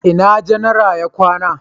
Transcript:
ina janara ya kwana?